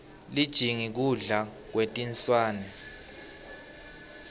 lijingi kudla kwetinswane